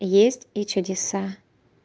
есть и чудеса